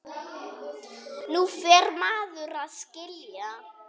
Nú fer maður að skilja!